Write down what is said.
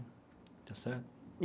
Está certo?